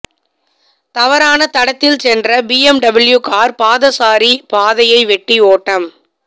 தவறான தடத்தில் சென்ற பிஎம்டபிள்யூ கார் பாதசாரி பாதையை வெட்டி ஓட்டம்